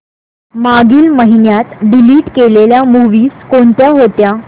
मागील महिन्यात डिलीट केलेल्या मूवीझ कोणत्या होत्या